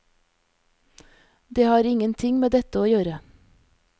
Det har ingenting med dette å gjøre.